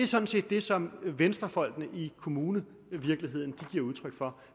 sådan set det som venstrefolk i kommunevirkeligheden giver udtryk for